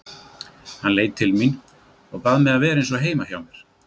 Hann leit til mín og bað mig að vera eins og heima hjá mér.